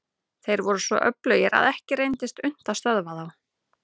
Þeir voru svo öflugir að ekki reyndist unnt að stöðva þá.